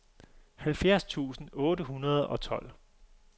halvfjerds tusind otte hundrede og tolv